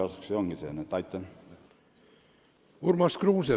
Urmas Kruuse, palun!